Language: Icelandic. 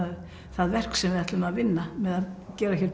það verk sem við ætluðum að vinna með að gera hér